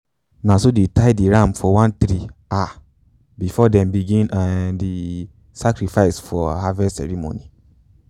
na so they tie the ram for one tree um before them begin um the sacrifice for harvest ceremony.